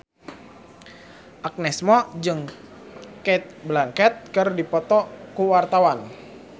Agnes Mo jeung Cate Blanchett keur dipoto ku wartawan